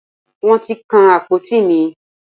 Wọ́n ti kan àpótí mi.